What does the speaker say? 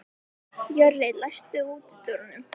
Jörri, læstu útidyrunum.